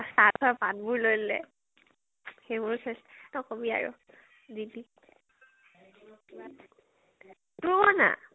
চাহ খোৱা পাত বোৰ লৈ ললে । সেই বো । নকবি আৰু, যিতি । তোৰ ক না?